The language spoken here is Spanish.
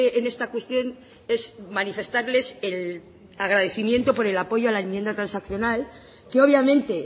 en esta cuestión es manifestarles el agradecimiento por el apoyo a la enmienda transaccional que obviamente